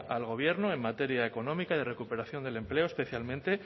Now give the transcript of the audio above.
al gobierno en materia económica y de recuperación del empleo especialmente